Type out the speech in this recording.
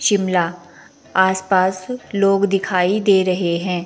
शिमला आस पास लोग दिखाई दे रहे हैं।